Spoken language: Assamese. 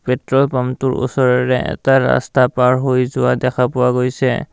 পেট্ৰল পাম্পটোৰ ওচৰেৰে এটা ৰাস্তা পাৰ হৈ যোৱা দেখাপোৱা গৈছে।